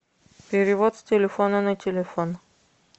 перевод с телефона на телефон